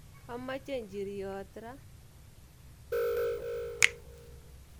Amoche njir'yot ra